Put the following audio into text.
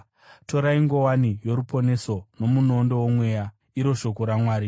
Torai nguwani yoruponeso nomunondo womweya, iro shoko raMwari.